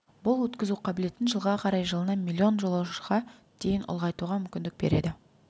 бұл өткізу қабілетін жылға қарай жылына миллион жолаушыға дейін ұлғайтуға мүмкіндік береді